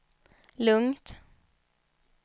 lugnt